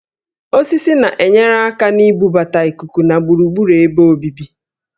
Osisi na-enyere aka na-ibubata íkúkú na gburugburu ebe obibi